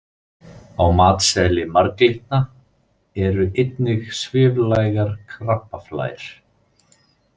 Á matseðli marglyttna eru einnig sviflægar krabbaflær.